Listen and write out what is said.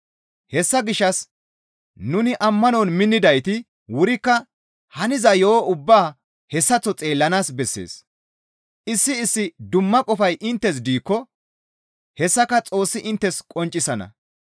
Hessa gishshas nuni ammanon minnidayti wurikka haniza yo7o ubbaa hessaththo xeellanaas bessees; issi issi dumma qofay inttes diikko hessaka Xoossi inttes qonccisana.